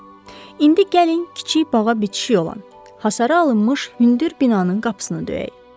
İndi gəlin kiçik bağa bitişik olan, hasara alınmış hündür binanın qapısını döyək.